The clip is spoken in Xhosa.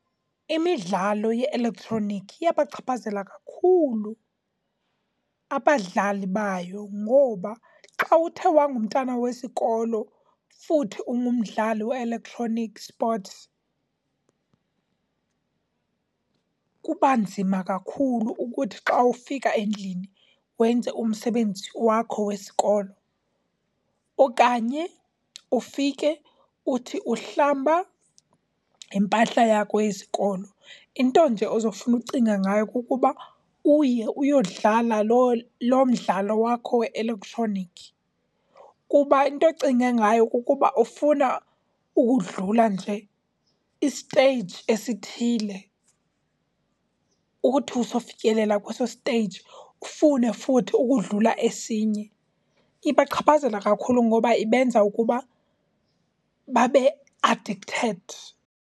Imidlalo ye-elektroniki iyabachaphazela kakhulu abadlali bayo ngoba xa uthe wangumntana wesikolo futhi ungumdlali we-electronic sports kuba nzima kakhulu ukuthi xa ufika endlini wenze umsebenzi wakho wesikolo okanye ufike uthi uhlamba impahla yakho yesikolo, into nje ozofuna ukucinga ngayo kukuba uye uyodlala loo, loo mdlalo wakho we-elektroniki. Kuba into ocinga ngayo kukuba ufuna ukudlula nje i-stage esithile, uthi usofikelela kweso stage ufune futhi ukudlula esinye. Ibachaphazela kakhulu ngoba ibenza ukuba babe addicted.